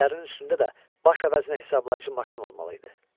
Çiyinlərinin üstündə də baş əvəzinə hesablayıcı maşın olmalı idi.